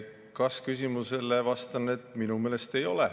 Kas-küsimusele vastan, et minu meelest ei ole.